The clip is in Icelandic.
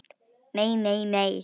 Nei, nei, nei.